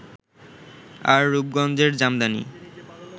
আর রূপগঞ্জের জামদানি